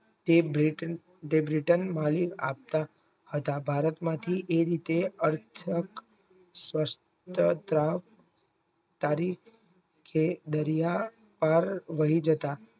તે બ્રેટન બ્રિટનમાળી આપતા હતા ભારતમાંથી એ રીતે થાક શસ્ત્ર પ્રાણ તારી કે દરિયા પાર લઇ જતા